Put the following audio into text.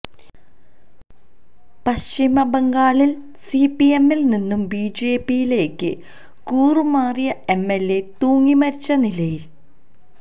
പശ്ചിമ ബംഗാളില് സിപിഎമ്മിൽ നിന്നും ബിജെപിയിലേക്ക് കൂറുമാറിയ എംഎല്എ തൂങ്ങിമരിച്ച നിലയില്